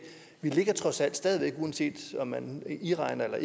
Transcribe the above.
vi trods alt uanset om man indregner